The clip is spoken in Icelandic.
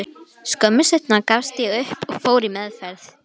Skömmu seinna gafst ég upp og fór í meðferð.